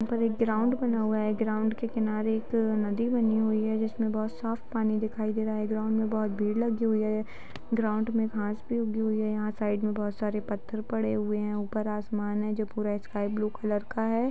इधर एक ग्राउंड बना हुआ है। ग्राउंड के किनारे एक नदी बनी हुई है जिसमें बहुत साफ पानी दिखाई दे रहा है। ग्राउंड में बहुत भीड़ लगी हुई है। ग्राउंड में घास भी उगी हुए है। यहाँ साइड में बहुत सरे पत्थर पड़े हुए है। ऊपर आसमान है जो की लाइट स्काई ब्लू कलर का है।